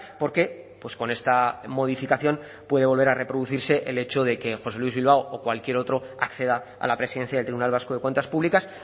porque con esta modificación puede volver a reproducirse el hecho de que josé luis bilbao o cualquier otro acceda a la presidencia del tribunal vasco de cuentas públicas